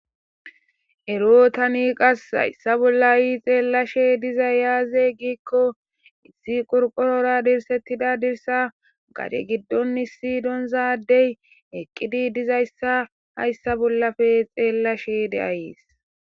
Erotani qas hayssa bollayi xeellashe dizay yaaze giikko issi qurqorora dirsettida dirsa gade giddon issi donzaadey eqqidi dizayssa hayssa bollafe xeellashe de ayeis.